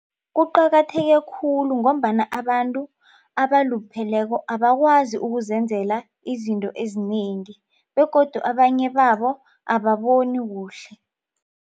Kuqakatheke khulu ngombana abantu abalupheleko abakwazi ukuzenzela izinto ezinengi begodu abanye babo ababoni kuhle.